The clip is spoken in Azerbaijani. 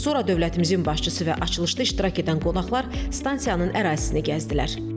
Sonra dövlətimizin başçısı və açılışda iştirak edən qonaqlar stansiyanın ərazisini gəzdilər.